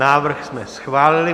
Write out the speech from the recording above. Návrh jsme schválili.